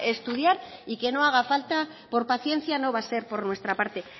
estudiar y que no haga falta por paciencia no va a ser por nuestra parte